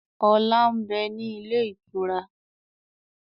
Ọlá ń bẹ ní ilé ìtura